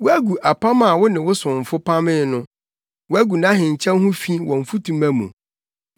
Woagu apam a wo ne wo somfo pamee no, woagu nʼahenkyɛw ho fi wɔ mfutuma mu.